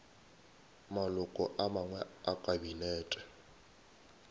maloko a mangwe a kabinete